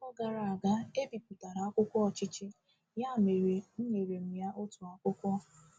Afọ gara aga, e bipụtara akwụkwọ Ọchịchị, ya mere, enyere m ya otu akwụkwọ.